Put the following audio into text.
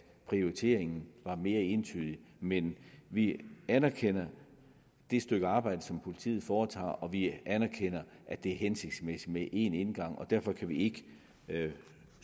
prioriteringen var mere entydig men vi anerkender det stykke arbejde som politiet foretager og vi anerkender at det er hensigtsmæssigt med én indgang derfor kan vi ikke